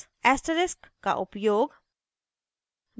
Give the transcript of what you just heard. asterisk का उपयोग